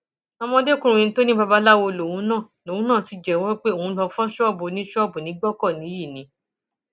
ọmọdékùnrin tó ní babaláwo lòun náà lòun náà sì jẹwọ pé òun lóo fọ ṣọọbù oníṣọọbù ní gbọkọnìyí ni